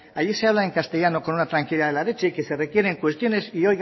allí se habla en castellano con una tranquilidad de la leche y que se requieren cuestiones y